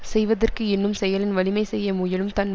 செய்வதற்கு எண்ணும் செயலின் வலிமை செய்ய முயலும் தன்